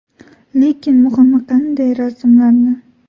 Lekin muhimi – qanday rasmlarni.